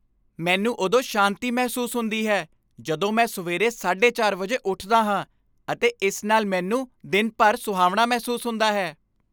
ਮੈਨੂੰ ਉਦੋਂ ਸ਼ਾਂਤੀ ਮਹਿਸੂਸ ਹੁੰਦੀ ਹੈ ਜਦੋਂ ਮੈਂ ਸਵੇਰੇ 4:30 ਵਜੇ ਉੱਠਦਾ ਹਾਂ ਅਤੇ ਇਸ ਨਾਲ ਮੈਨੂੰ ਦਿਨ ਭਰ ਸੁਹਾਵਣਾ ਮਹਿਸੂਸ ਹੁੰਦਾ ਹੈ।